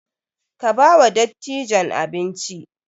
Ka ba wa dattijan abinci!